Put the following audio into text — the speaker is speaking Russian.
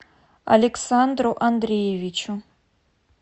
александру андреевичу